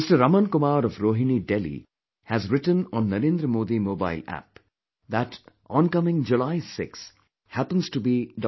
Raman Kumar of Rohini, Delhi, has written on 'Narendra Modi Mobile App' that oncoming July 6 happens to be Dr